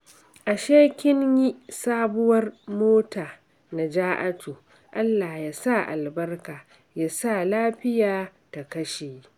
Ashe kin yi sabuwar mota Naja'atu. Allah ya sa albarka, ya sa lafiya ta kashe